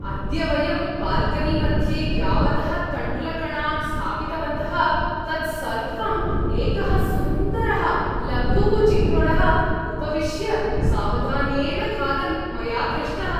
अद्य वयं बाल्कनीमध्ये यावतः तण्डुलकणान् स्थापितवन्तः तत् सर्वं एकः सुन्दरः लघुः चिक्रोडः उपविश्य सावधानेन खादन् मया दृष्टः।